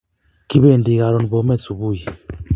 Kipendi karon Bomet subui